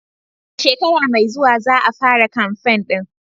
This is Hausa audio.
A shekara mai zuwa za a fara kamfen ɗin.